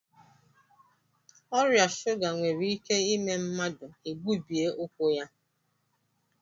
Ọrịa shuga nwere ike ime mmadụ egbubie ụkwụ ya